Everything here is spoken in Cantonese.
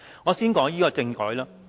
我先談談政改。